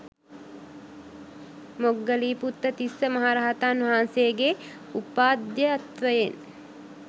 මොග්ගලීපුත්ත තිස්ස මහ රහතන් වහන්සේ ගේ උපාධ්‍යයත්වයෙන්